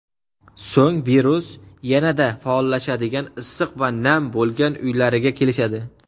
So‘ng virus yanada faollashadigan issiq va nam bo‘lgan uylariga kelishadi.